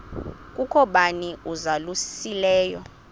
kukho bani uzalusileyo